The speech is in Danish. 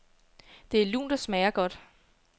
Det er lunt og smager godt.